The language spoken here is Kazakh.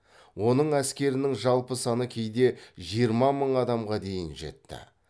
оның әскерінің жалпы саны кейде жиырма мың адамға дейін жетті